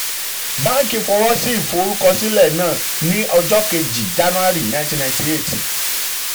báǹkì fọwọ́ sí ìforúkọsílẹ̀ náà um ní ọjọ́ um kejì january nineteen ninety eight.